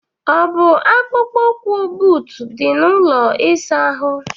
ọ bụ akpụkpọ ụkwụ, buut di, na ụlọ ịsa ahụ?